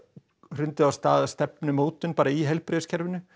hrundið af stað bara stefnumótun í heilbrigðiskerfinu